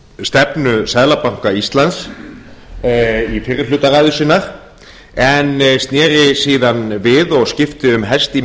stefnu seðlabanka íslands í fyrri hluta ræðu sinnar en sneri síðan við og skipti um hest í